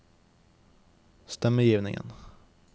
stemmegivningen